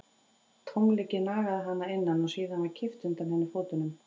Tómleikinn nagaði hana að innan og síðan var kippt undan henni fótunum.